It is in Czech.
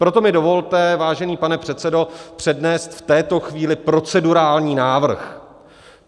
Proto mi dovolte, vážený pane předsedo, přednést v této chvíli procedurální návrh.